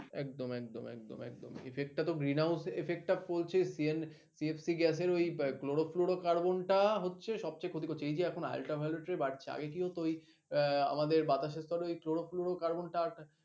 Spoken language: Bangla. একদম একদম একদম একদম effect টাতো green house effect টা পড়ছে CFC gas এর ওই chloro fluro carbon টা হচ্ছে সবচেয়ে ক্ষতি করছে। এই যে এখন ultraviolet ray বাড়ছে, আগে কি হতো ওই আহ আমাদের বাতাসের স্তরে ওই chloro fluro carbon টা আছে।